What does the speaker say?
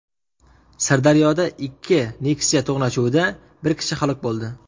Sirdaryoda ikki Nexia to‘qnashuvida bir kishi halok bo‘ldi.